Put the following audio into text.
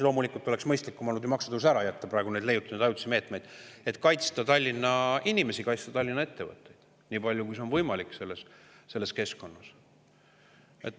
Loomulikult oleks mõistlikum olnud maksutõus ära jätta, aga praegu oleme leiutanud ajutisi meetmeid, et kaitsta Tallinna inimesi, kaitsta Tallinna ettevõtteid nii palju, kui on võimalik selles keskkonnas.